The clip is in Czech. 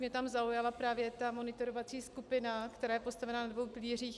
Mě tam zaujala právě ta monitorovací skupina, která je postavena na dvou pilířích.